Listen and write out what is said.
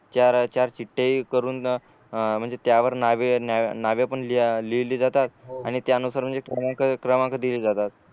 चार चार चीत्ठ्या हे करून म्हणजे त्यावर नावे पण लिहिली जातात आणि त्यानुसार म्हणजे क्रमांक क्रमांक दिले जातात